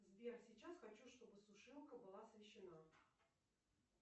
сбер сейчас хочу чтобы сушилка была освещена